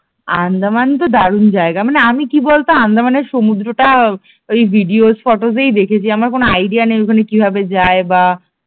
আন্দামান তো দারুণ জায়গা মানে আমি কি বলতো আন্দামান এর সমুদ্রটা আহ ওই ভিডিও ফটোস এই দেখেছি আমার কোন আইডিয়া নেই যে ওখানে কিভাবে যায় বা